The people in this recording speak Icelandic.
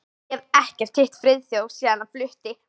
Ég hef ekkert hitt Friðþjóf síðan hann flutti.